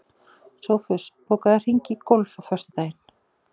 Sófus, bókaðu hring í golf á föstudaginn.